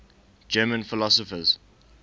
german philosophers